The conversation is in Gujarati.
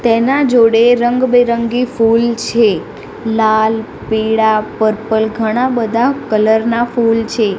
તેના જોડે રંગબેરંગી ફૂલ છે લાલ પીળા પર્પલ ઘણા બધા કલર ના ફૂલ છે.